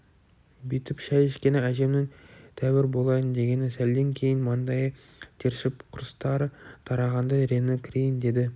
бүйтіп шай ішкені әжемнің тәуір болайын дегені сәлден кейін маңдайы тершіп құрыстары тарағандай реңі кірейін деді